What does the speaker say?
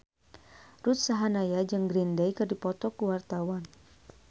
Ruth Sahanaya jeung Green Day keur dipoto ku wartawan